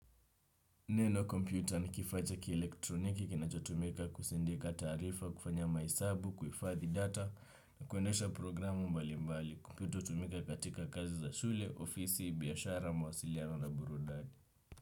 Neno kompyuta na kifaa cha kielektroniki, kinachotumika kusendika taarifa, kufanya mahesabu, kuhifadhi data, na kuendesha programu mbali mbali. Kinachotumika katika kazi za shule, ofisi, biashara, mawasiliano na burudani.